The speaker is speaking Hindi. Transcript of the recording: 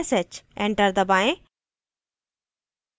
enter दबाएँ